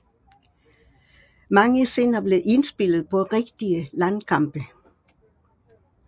Mange scener blev indspillet på rigtige landkampe